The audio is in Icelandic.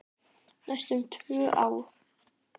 Næstum tvö ár!